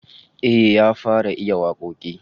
Eh, ya fara iya wakoki